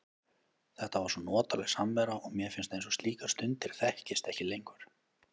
Þetta var svo notaleg samvera og mér finnst eins og slíkar stundir þekkist ekki lengur.